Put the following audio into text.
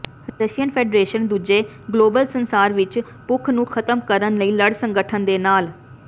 Russian federation ਦੂਜੇ global ਸੰਸਾਰ ਵਿੱਚ ਭੁੱਖ ਨੂੰ ਖਤਮ ਕਰਨ ਲਈ ਲੜ ਸੰਗਠਨ ਦੇ ਨਾਲ